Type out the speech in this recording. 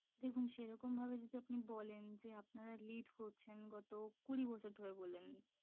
দেখুন সেরকম ভাবে যদি আপনি বলেন যে আপনারা lead করছেন গত কুড়ি বছর ধরে বললেন